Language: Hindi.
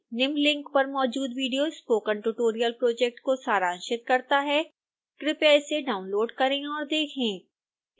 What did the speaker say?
निम्न लिंक पर मौजूद विडियो स्पोकन ट्यूटोरियल प्रोजेक्ट को सारांशित करता है कृपया इसे डाउनलोड करें और देखें